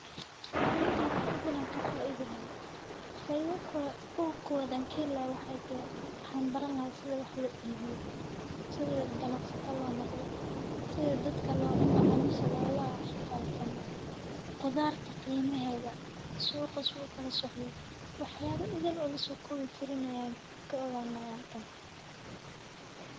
Runtii wax idil ayaan ka faaidi lahaay, faidada ugu kobaad aan kaheli lahaay waxaay tahay waxaan barani lahaay sida wax loo iibiyo, sida ganacsata loo noqdo, sida macaamisha loola xifaaltamo, qudaarta qiimaheeda, suuqa siduu ukala socdo, wax yaaba idil oo lasoo koobi karin ayaan ka ogaani lahaay halkan.